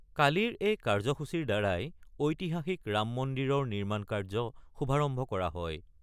কালিৰ এই কাৰ্যসূচীৰ দ্বাৰাই ঐতিহাসিক ৰাম মন্দিৰৰ নিৰ্মাণ কাৰ্য শুভাৰম্ভ কৰা হয়।